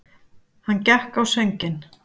Hann gekk á sönginn.